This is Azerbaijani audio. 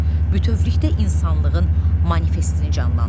Bütövlükdə insanlığın manifestini canlandırır.